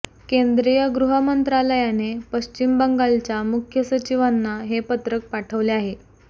केंद्रीय गृहमंत्रालयाने पश्चिम बंगालच्या मुख्य सचिवांना हे पत्रक पाठवले आहे